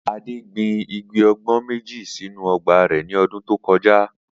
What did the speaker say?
Adé gbin igi àgbo̩n méjì sínú o̩gbà rè̩ ní o̩dún tó ko̩já